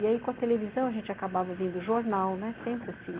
E aí, com a televisão, a gente acabava vendo jornal, né, sempre assim.